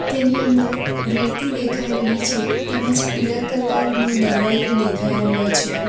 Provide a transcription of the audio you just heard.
તેની અંદર રેતી દેખાઈ રહી છે તેમજ પીળા કલર નો દરવાજો દેખાઈ રહ્યો છે.